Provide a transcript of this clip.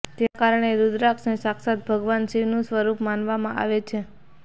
તેના કારણે રૂદ્રાક્ષને સાક્ષાત ભગવાન શિવનું સ્વરૂપ માનવામાં આવે છે